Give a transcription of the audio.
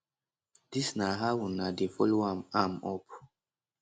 dis na how una dey follow am am up